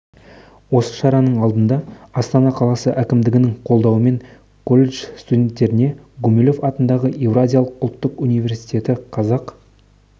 осы шараның алдыңда астана қаласы әкімдігінің қолдауымен колледж студенттеріне гумилев атындағы еуразия ұлттық университеті қазақ